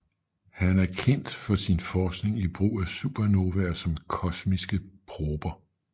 Han er kendt for sin forskning i brug af supernovaer som komsiske prober